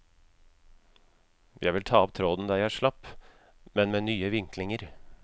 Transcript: Jeg vil ta opp tråden der jeg slapp, men med nye vinklinger.